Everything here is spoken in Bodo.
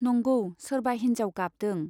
नंगौ सोरबा हिन्जाव गाबदों।